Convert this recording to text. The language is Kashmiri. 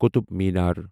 قطب مینار